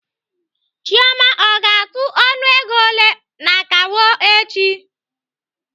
Chioma ọ ga-atụ ọnụego ole n'akawo echi?